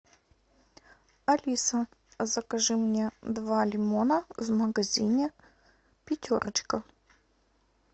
алиса закажи мне два лимона в магазине пятерочка